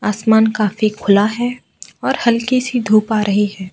आसमान काफी खुला है और हल्की सी धूप आ रही है।